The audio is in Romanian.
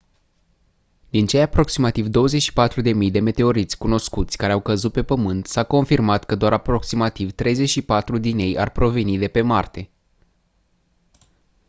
din cei aproximativ 24.000 de meteoriți cunoscuți care au căzut pe pământ s-a confirmat că doar aproximativ 34 din ei ar proveni de pe marte